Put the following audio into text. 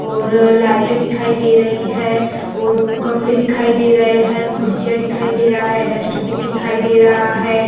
और अ लाइटे दिखाई दे रही हैं और गमले दिखाई दे रहे है खुरसियाँ दिखाई दे रहा है डस्टबिन दे रहा है।